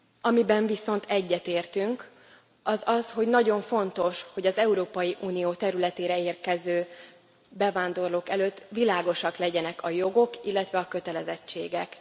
Amiben viszont egyetértünk, az az, hogy nagyon fontos, hogy az Európai Unió területére érkező bevándorlók előtt világosak legyenek a jogok, illetve a kötelezettségek.